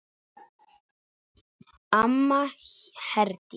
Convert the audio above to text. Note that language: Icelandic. Amma Herdís.